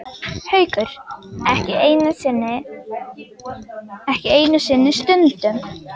Haukur: Ekki einu sinni stundum?